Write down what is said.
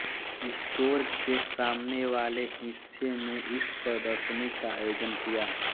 store के सामने वाले हिस्से में इस प्रदर्शनी का आयोजन किया